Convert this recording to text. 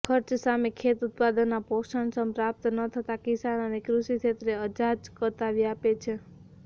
ખર્ચ સામે ખેત ઉત્પાદનના પોષણક્ષમ પ્રાપ્ત ન થતા કિસાન અને કૃષિ ક્ષેત્રે અજાજકતા વ્યાપે છે